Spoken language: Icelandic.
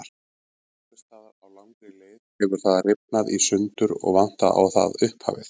Einhvers staðar á langri leið hefur það rifnað í sundur og vantar á það upphafið.